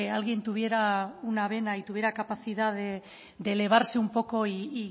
alguien tuviera una vena y tuviera capacidad de elevarse un poco y